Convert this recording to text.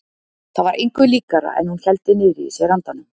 Það var engu líkara en hún héldi niðri í sér andanum.